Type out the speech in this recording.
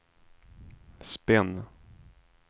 spinn